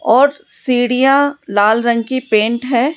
और सीढ़ियां लाल रंग की पेंट है।